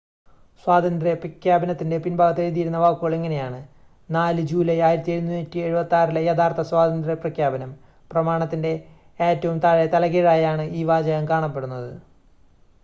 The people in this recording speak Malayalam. "സ്വാതന്ത്ര്യ പ്രഖ്യാപനത്തിന്റെ പിൻഭാഗത്ത് എഴുതിയിരുന്ന വാക്കുകൾ ഇങ്ങനെയാണ് "4 ജൂലൈ 1776 ലെ യഥാർത്ഥ സ്വാതന്ത്ര്യ പ്രഖ്യാപനം"".പ്രമാണത്തിന്റെ ഏറ്റവും താഴെ തലകീഴായാണ് ഈ വാചകം കാണപ്പെടുന്നത്.